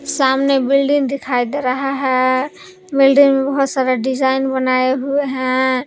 सामने बिल्डिंग दिखाई दे रहा है बिल्डिंग बहुत सारा डिजाइन बनाए हुए हैं।